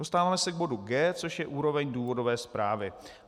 Dostáváme se k bodu G, což je úroveň důvodové zprávy.